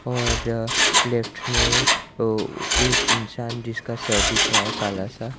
और लेफ्ट में एक इंसान जिसका शर्ट दिख रहा है काला सा।